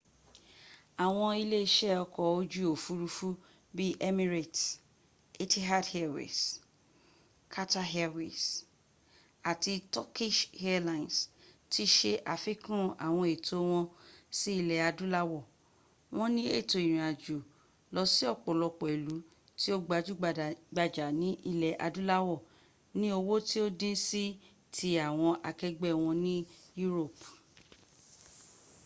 awon ile ise oko oju ofurufu bi emirates etihad airways qatar airways ati turkish airlines ti se afikun awon eto won si ile adulawo won ni eto irinajo losi opolopo ilu ti o gbaju-gbaja ni ile adulawo ni owo ti o din si ti awon akegbe won ni europe